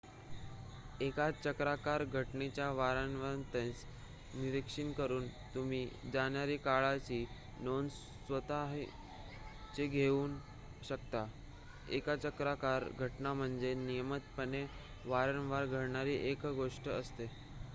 एका चक्राकार घटनेच्या वारंवारतेचे निरीक्षण करुन तुम्ही जाणाऱ्या काळाची नोंद स्वतःच घेऊ शकता एक चक्राकार घटना म्हणजे नियमितपणे वारंवार घडणारी एक गोष्ट असते